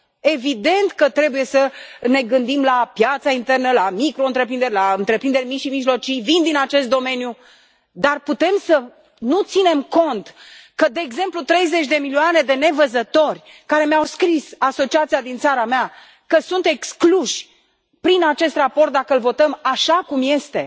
Evident că trebuie să ne gândim la piața internă, la microîntreprinderi, la întreprinderi mici și mijlocii dar putem să nu ținem cont de, de exemplu, 30 de milioane de nevăzători care mi au scris, asociația din țara mea, că sunt excluși prin acest raport dacă l votăm așa cum este.